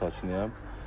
Binanın sakininiyəm.